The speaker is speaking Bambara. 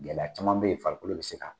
Gɛlɛya caman bɛ yen farikolo bɛ se k'a kun.